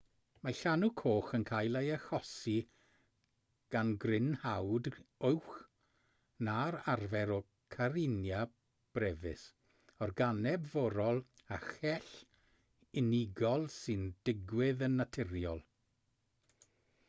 mae llanw coch yn cael ei achosi gan grynhoad uwch na'r arfer o karenia brevis organeb forol â chell unigol sy'n digwydd yn naturiol